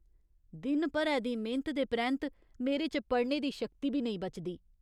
दिन भरै दी मेह्‌नत दे परैंत्त मेरे च पढ़ने दी शक्ति बी नेईं बचदी।